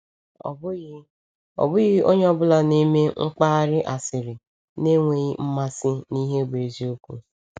Ọ bụghị Ọ bụghị onye ọ bụla na-eme mkparị asịrị na-enweghị mmasị n’ihe bụ eziokwu.